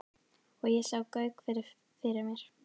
Og ég sá Gauk fyrir mér.